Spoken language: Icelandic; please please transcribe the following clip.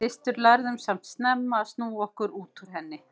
Við systur lærðum samt snemma að snúa okkur út úr henni.